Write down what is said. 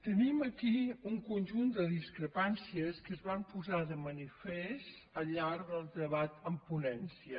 tenim aquí un conjunt de discrepàncies que es van posar de manifest al llarg del debat en ponència